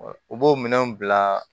U b'o minɛnw bila